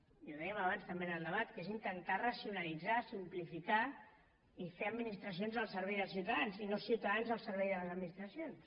i ho dèiem abans també en el debat que és intentar racionalitzar simplificar i fer administracions al servei dels ciutadans i no ciutadans al servei de les administracions